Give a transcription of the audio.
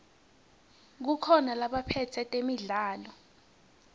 kukhona labaphetse temidlalo